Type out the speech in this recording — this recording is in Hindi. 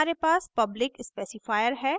यहाँ हमारे पास public specifier है